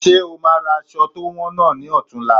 Ṣe o máa ra aṣọ to wọn náà ni ọ̀tunla?